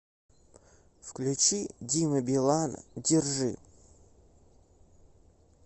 включи дима билан держи